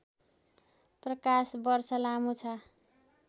प्रकाश वर्ष लामो छ